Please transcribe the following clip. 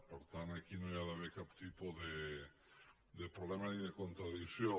per tant aquí no hi ha d’haver cap tipus de problema ni de contradicció